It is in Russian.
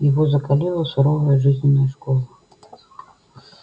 его закалила суровая жизненная школа